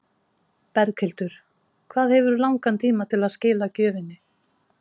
Berghildur: Hvað hefurðu langan tíma til að skila gjöfinni?